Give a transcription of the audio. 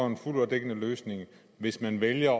en fuld og dækkende løsning hvis man vælger